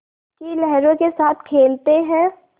की लहरों के साथ खेलते हैं